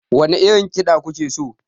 Wane irin kida kuke so?